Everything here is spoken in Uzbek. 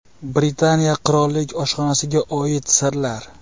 Britaniya qirollik oshxonasiga oid sirlar.